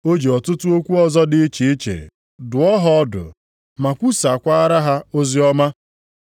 O ji ọtụtụ okwu ọzọ dị iche iche dụọ ha ọdụ ma kwusaakwara ha oziọma.